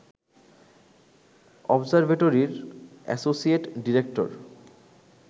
অবজারভেটরির associate director